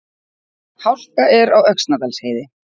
Hálka er á Öxnadalsheiði